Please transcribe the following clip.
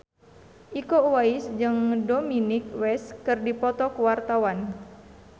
Iko Uwais jeung Dominic West keur dipoto ku wartawan